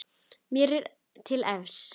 Mér er til efs.